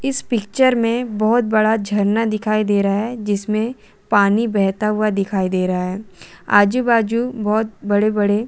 इस पिक्चर में बोहत बड़ा झरना दिखाई दे रहा है जिसमें पानी बेहता हुआ दिखाई दे रहा है आजू -बाजू बोहोत बड़े -बड़े--